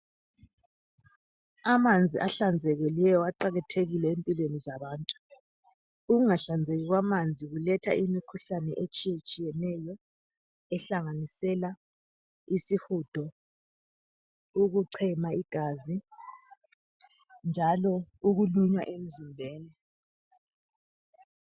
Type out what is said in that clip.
Amanzi ahlanzekileyo aqakathekile empilweni zabantu. Ukungahlanzeki kwamanzi kuletha imikhuhlane etshiyatshiyeneyo ehlanganisela isihudo, ukuchema igazi, njalo ukulunywa emzimbeni.